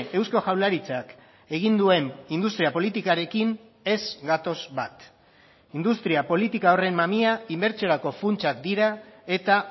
eusko jaurlaritzak egin duen industria politikarekin ez gatoz bat industria politika horren mamia inbertsiorako funtsak dira eta